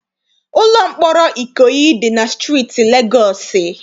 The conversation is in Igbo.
Ụlọ mkpọrọ Ikoyi dị na steeti Legọọsị.